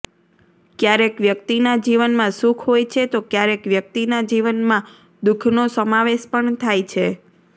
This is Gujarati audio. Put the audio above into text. ક્યારેક વ્યક્તિના જીવનમાં સુખ હોય છે તો ક્યારેક વ્યક્તિના જીવનમાં દુખનો સમાવેશ પણ થાય છે